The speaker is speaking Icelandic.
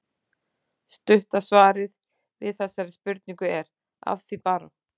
Stutta svarið við þessari spurningu er: Að því bara!